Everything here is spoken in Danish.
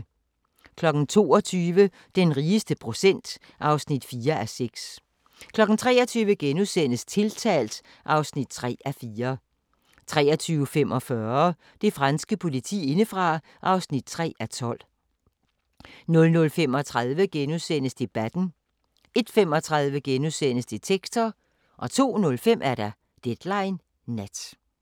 22:00: Den rigeste procent (4:6) 23:00: Tiltalt (3:4)* 23:45: Det franske politi indefra (3:12) 00:35: Debatten * 01:35: Detektor * 02:05: Deadline Nat